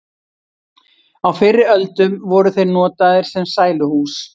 á fyrri öldum voru þeir notaðir sem sæluhús